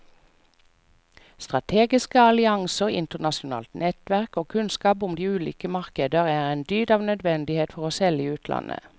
Strategiske allianser, internasjonalt nettverk og kunnskap om de ulike markeder er en dyd av nødvendighet for å selge i utlandet.